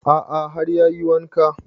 A'a har ya yi wanka